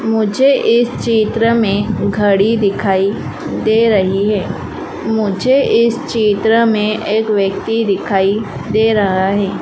मुझे इस चित्र में घड़ी दिखाई दे रही है मुझे इस चित्र में एक व्यक्ति दिखाई दे रहा है।